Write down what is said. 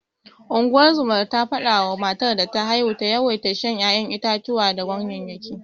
Ungozomar ta fada wa matar da ta haihu ta yawaita shan ya'yan itatuwa da ganyeyyaki.